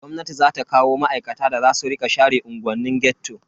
Gwamnati za ta kawo ma'aikata da za su rika share unguwannin ghetto.